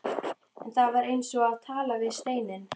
En það var eins og að tala við steininn.